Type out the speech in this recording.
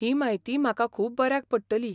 ही म्हायती म्हाका खूब बऱ्याक पडटली.